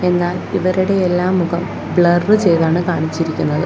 എന്നാൽ ഇവരുടെ എല്ലാം മുഖം ബ്ലർ ചെയ്താണ് കാണിച്ചിരിക്കുന്നത്.